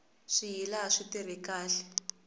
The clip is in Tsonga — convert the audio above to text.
swiyila a swi tirha khale